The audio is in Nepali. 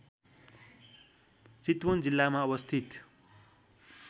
चितवन जिल्लामा अवस्थित